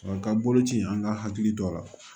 N ka boloci an ka hakili to a la